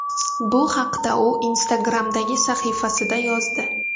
Bu haqda u Instagram’dagi sahifasida yozdi .